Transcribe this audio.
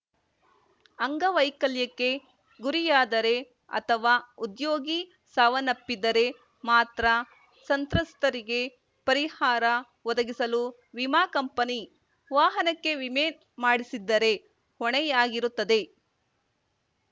ಅಂಗವೈಕಲ್ಯಕ್ಕೆ ಗುರಿಯಾದರೆ ಅಥವಾ ಉದ್ಯೋಗಿ ಸಾವನ್ನಪ್ಪಿದ್ದರೆ ಮಾತ್ರ ಸಂತ್ರಸ್ತರಿಗೆ ಪರಿಹಾರ ಒದಗಿಸಲು ವಿಮಾ ಕಂಪನಿ ವಾಹನಕ್ಕೆ ವಿಮೆ ಮಾಡಿಸಿದ್ದರೆ ಹೊಣೆಯಾಗಿರುತ್ತದೆ